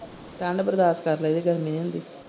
ਠੰਡ ਬਰਦਾਸ਼ ਕਰ ਲੈਂਦੇ ਗਰਮੀ ਨੀ ਹੁੰਦੀ।